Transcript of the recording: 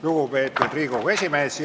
Lugupeetud Riigikogu esimees!